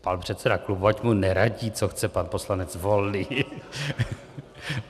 Pan předseda klubu, ať mu neradí, co chce pan poslanec Volný .